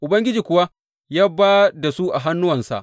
Ubangiji kuwa ya ba da su a hannuwansa.